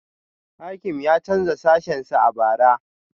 Hakim ya canza sashensa a bara